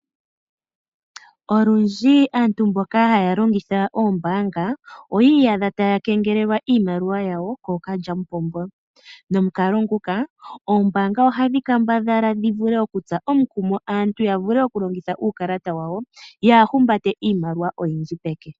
Olundji aantu mboka haya longitha oombaanga oyi iyadha taya kengelelwa iimaliwa yawo kookalyamupombo. Molwa omukalo nguka, oombaanga ohadhi kambadhala dhi tse aantu omukumo ya vule okulongitha uukalata wawo, yaa humbate iimaliwa oyindji peke.